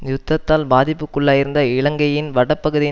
யுத்தத்தால் பாதிப்புக்குள்ளாகியிருந்த இலங்கையின் வட பகுதியின்